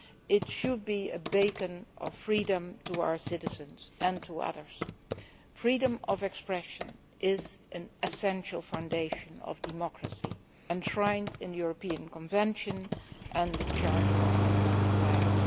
It should be a beacon of freedom to our citizens and to others. Freedom of expression is an essential foundation of democracy, enshrined in the European Convention and the Charter of Fundamental Rights.